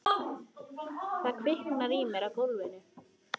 Það kviknar í mér á gólfinu.